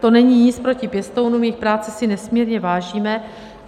To není nic proti pěstounům, jejich práce si nesmírně vážíme.